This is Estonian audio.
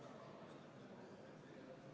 Eelnõu 47 esimene lugemine toimus 25. septembril.